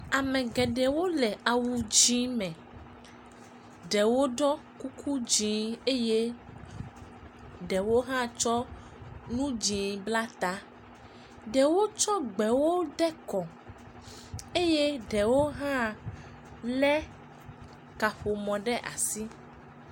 Ame geɖewo le awu dzɛ̃ me. Ɖewo ɖɔ kuku dzɛ̃ eye ɖewo hã tsɔ nu dzɛ̃ bla ta. Ɖewo tsɔ gbewo de kɔ eye ɖewo hã le kaƒomɔ ɖe asi.